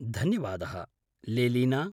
धन्यवादः, लेलीना।